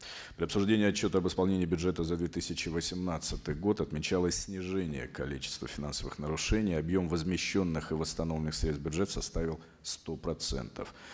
для обсуждения отчета об исполнении бюджета за две тысячи восемнадцатый год отмечалось снижение количества финансовых нарушений объем возмещенных и восстановленных средств в бюджет составил сто процентов